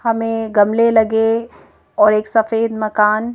हमें गमले लगे और एक सफेद मकान--